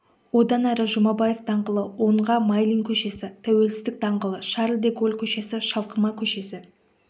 одан әрі жұмабаев даңғылы оңға майлин көшесі тәуелсіздік даңғылы шарль де голль көшесі шалқыма көшесі